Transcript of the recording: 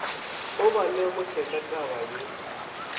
o ba lemoše ka tabaye